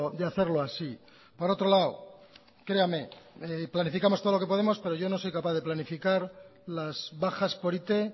de hacerlo así por otro lado créame planificamos todo lo que podemos pero yo no soy capaz de planificar las bajas por it